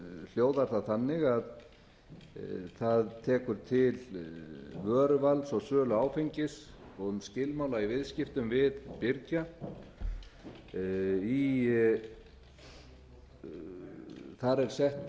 hljóðar það þannig að það tekur til vöruvals og sölu áfengis og um skilmála í viðskiptum við birgja þar er sett